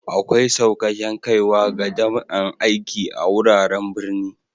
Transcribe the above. Akwai saukaken kaiwa ga dama'n aiki a'wuraren birni.